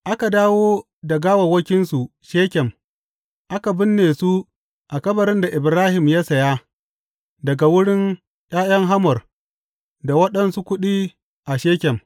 Aka dawo da gawawwakinsu Shekem aka binne su a kabarin da Ibrahim ya saya daga wurin ’ya’yan Hamor da waɗansu kuɗi a Shekem.